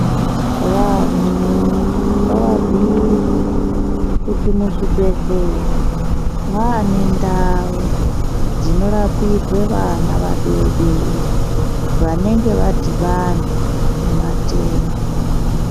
Vantu ngavabgiirwe kuti muzvibhedhlera Mwane ndau dzinorapirwa vana vadodori vanenge vadhibana nematenda.